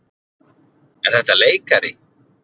Er þetta leikari?